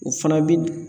U fana bi